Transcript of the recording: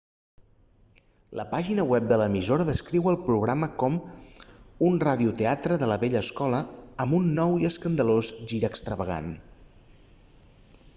la pàgina web de l'emissora descriu el programa com un ràdio-teatre de la vella escola amb un nou i escandalós gir extravagant